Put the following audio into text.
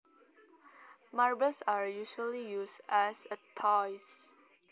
Marbles are usually used as toys